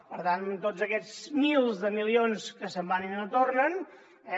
per tant tots aquests milers de milions que se’n van i no tornen eh